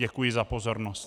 Děkuji za pozornost.